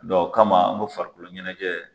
Dɔn o kama an ko farikolo ɲɛnajɛ